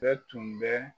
Bɛɛ tun bɛ